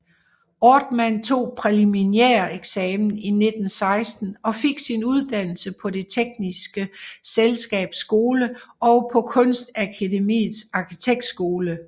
Ortmann tog præliminæreksamen 1916 og fik sin uddannelse på Det tekniske Selskabs Skole og på Kunstakademiets Arkitektskole